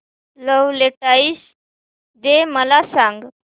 Valentine's Day मला सांग